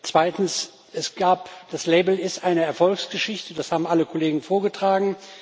Zweitens Das Label ist eine Erfolgsgeschichte das haben alle Kollegen vorgetragen.